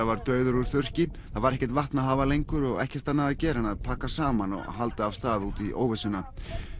var dauður úr þurrki það var ekkert vatn að hafa lengur og ekkert annað að gera en að pakka saman og halda af stað út í óvissuna